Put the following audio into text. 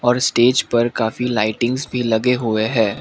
और इस स्टेज पर काफी लाईटिंगस भी लगे हुए हैं।